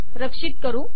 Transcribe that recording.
रक्षित करू